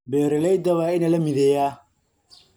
Beeralayda waa in la mideeyaa.